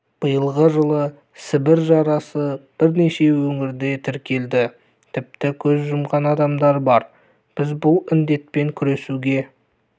биылғы жылы сібір жарасы бірнеше өңірде тіркелді тіпті көз жұмған адамдар бар біз бұл індетпен күресуге